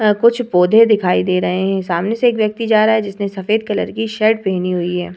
अ कुछ पौधे दिखाई दे रहे हैं। सामने से एक व्यक्ति जा रहा है जिससे सफेद कलर के शर्ट पहनी हुई है।